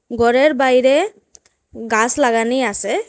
গরের বাইরে গাস লাগানি আসে।